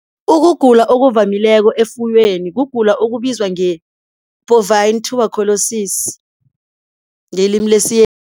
Ukugula okuvamileko efuyweni kugula okubizwa nge-bovine tuberculosis ngelimi